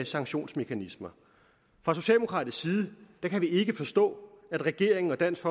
sanktionsmekanismer fra socialdemokratisk side kan vi ikke forstå at regeringen og dansk